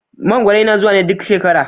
Mangwaro yana zuwa ne duk shekara.